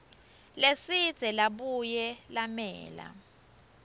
lesidze labuye lamela